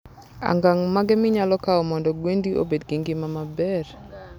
angang mage minyalo kao mondo gwendi obed gi ngima maber?